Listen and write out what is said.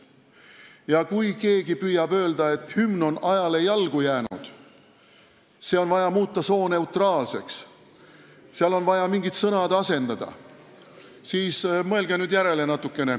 Ja kui keegi tahab öelda, et hümn on ajale jalgu jäänud, see on vaja sooneutraalseks muuta, seal on vaja mingid sõnad asendada, siis mõelgu natukene järele.